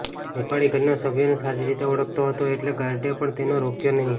નેપાળી ઘરના સભ્યોને સારી રીતે ઓળખતો હતો એટલે ગાર્ડે પણ તેને રોક્યો નહિ